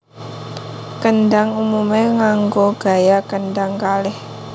Kendhang umumé nganggo gaya kendhang kalih